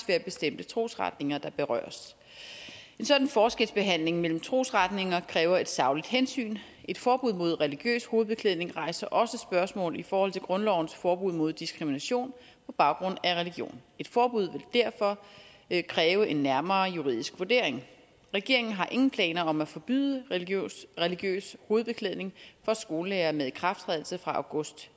være bestemte trosretninger der berøres en sådan forskelsbehandling mellem trosretninger kræver et sagligt hensyn et forbud mod religiøs hovedbeklædning rejser også spørgsmål i forhold til grundlovens forbud mod diskrimination på baggrund af religion et forbud vil derfor kræve en nærmere juridisk vurdering regeringen har ingen planer om at forbyde religiøs hovedbeklædning for skolelærere med ikrafttrædelse fra august